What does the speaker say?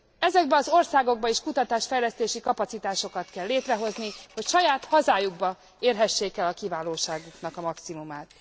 Ezekben az országokban is kutatásfejlesztési kapacitásokat kell létrehozni, hogy saját hazájukban érhessék el a kiválóságuknak a maximumát.